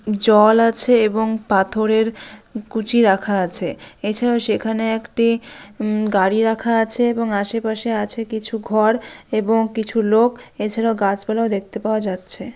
জল আছে এবং পাথরের কুচি রাখা আছে এছাড়া সেখানে একটি উমম গাড়ি রাখা আছে এবং আশেপাশে আছে কিছু ঘর এবং কিছু লোক এছাড়া গাছপালা দেখতে পাওয়া যাচ্ছে।